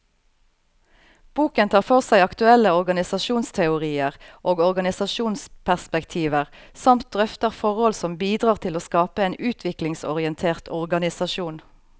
Boken tar for seg aktuelle organisasjonsteorier og organisasjonsperspektiver, samt drøfter forhold som bidrar til å skape en utviklingsorientert organisasjon.